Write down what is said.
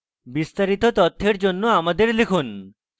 বিস্তারিত তথ্যের জন্য আমাদের লিখুন